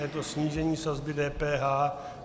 Je to snížení sazby DPH.